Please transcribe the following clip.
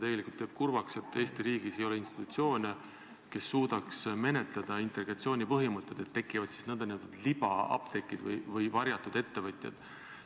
Tegelikult teeb kurvaks, et Eesti riigis ei ole institutsioone, kes suudaks menetleda integratsiooni põhimõtet, ning tekivad n-ö libaapteegid või varjatud ettevõtjad.